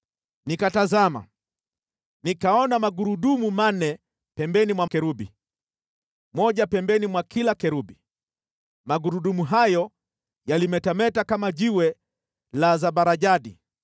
Nikatazama, nikaona magurudumu manne kando ya makerubi, moja kando ya kila kerubi. Magurudumu hayo yalimetameta kama kito cha zabarajadi.